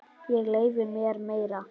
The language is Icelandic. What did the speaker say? Ég leyfi mér meira.